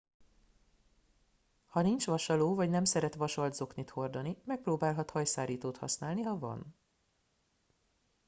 ha nincs vasaló vagy nem szeret vasalt zoknit hordani megpróbálhat hajszárítót használni ha van